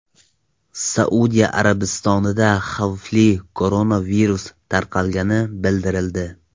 Saudiya Arabistonida xavfli koronavirus tarqalgani bildirildi.